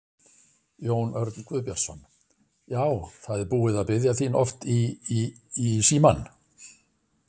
Jón Örn Guðbjartsson: Já, það er búið að biðja þín oft í í í símann?